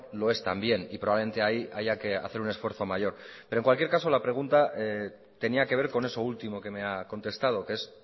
lo es también y probablemente ahí haya que hacer un esfuerzo mayor pero en cualquier caso la pregunta tenía que ver con eso último que me ha contestado que es